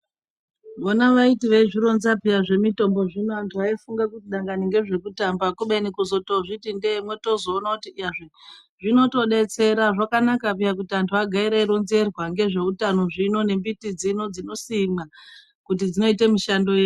Vona vaiti vaizvironza peya zvemitombo zvino antu aifunge kuti dangani ngezvekutamba. Kubeni kuzozviti ndee motozoona kuti iyazve zvinotobetsera zvakanaka peya kuti antu agare eironzerwa ngezveutano zvino ngembiti dzino dzinosimwa, kuti dzinoita mushando yei.